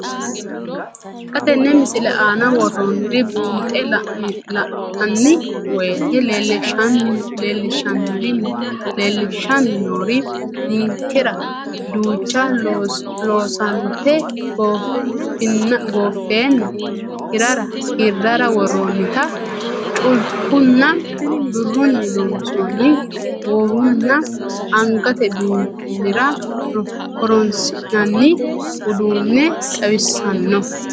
Xa tenne missile aana worroonniri buunxe la'nanni woyiite leellishshanni noori ninkera duucha loosante gooffeenna hirrara worroonnita culkunninna birrunni loonsoonni goowunna angate biinfillira horoonsi'nanni uduunne xawissanno.